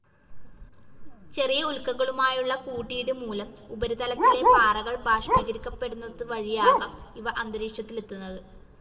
ചെറിയ ഉൽക്കകളുമായുള്ള കൂട്ടിയിടി മൂലം ഉപരിതലത്തിലെ പാറകൾ ബാഷ്പീകരിക്കപെടുന്നതുവഴിയാകാം ഇവ അന്തരീക്ഷത്തിലെത്തുന്നത്.